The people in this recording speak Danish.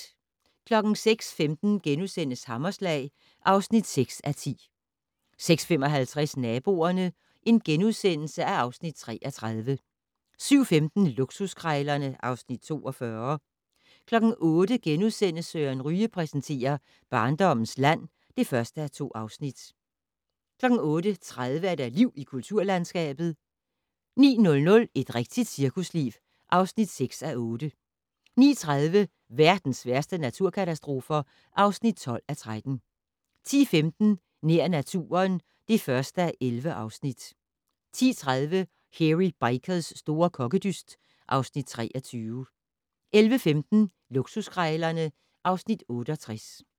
06:15: Hammerslag (6:10)* 06:55: Naboerne (Afs. 33)* 07:15: Luksuskrejlerne (Afs. 42) 08:00: Søren Ryge præsenterer: Barndommens land (1:2)* 08:30: Liv i kulturlandskabet 09:00: Et rigtigt cirkusliv (6:8) 09:30: Verdens værste naturkatastrofer (12:13) 10:15: Nær naturen (1:11) 10:30: Hairy Bikers' store kokkedyst (Afs. 23) 11:15: Luksuskrejlerne (Afs. 68)